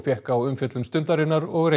fékk á umfjöllun Stundarinnar og